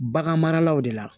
Bagan maralaw de la